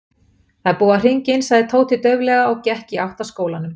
Það er búið að hringja inn sagði Tóti dauflega og gekk í átt að skólanum.